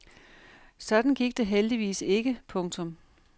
Sådan gik det heldigvis ikke. punktum